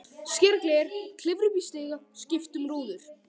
Skera gler, klifra upp í stiga, skipta um rúður.